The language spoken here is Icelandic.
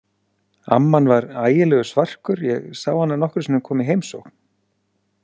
Amman var ægilegur svarkur, ég sá hana nokkrum sinnum koma í heimsókn.